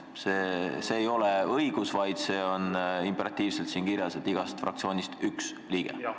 See ei ole fraktsiooni õigus, see on siin imperatiivselt kirjas, et igast fraktsioonist üks liige.